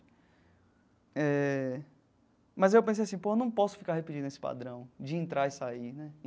Eh mas aí eu pensei assim, pô, eu não posso ficar repetindo esse padrão de entrar e sair né.